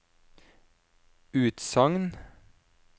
utsagn